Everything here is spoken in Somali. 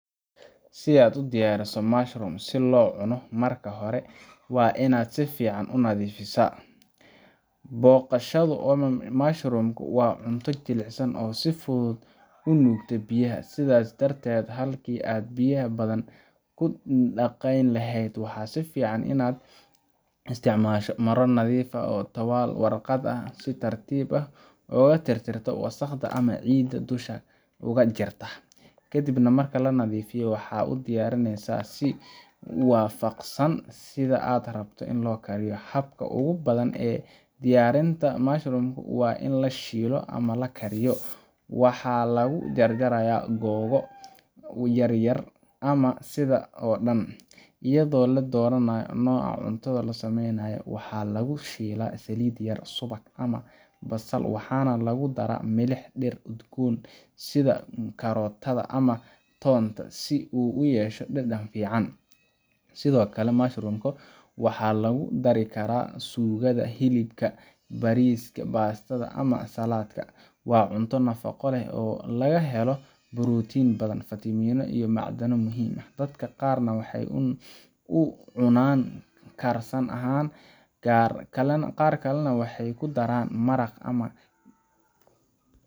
Si aa udiyariso mushroom si lo cuno marka hore waa in aa sifican u nadhifisa boqashadu mushroom ka waa miid jilicsan oo si fican u nugta biyaha sithas darteed waxaa fican in aa isticmasho mara nadhif ah, waxaa lagu jar jaraya waxaa lagu shila saliid yar, waa cunto nafaqo leh, dadka qar waxee u cunan karsan ahan dad qar kalana waxee ku daran maraqa ama.